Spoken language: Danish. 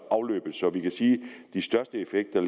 afløbet så vi kan sige at de største effekter